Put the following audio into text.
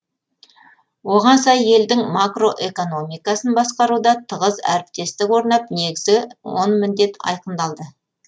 оған сай елдің макроэкономикасын басқаруда тығыз әріптестік орнап негізгі он міндет айқындалды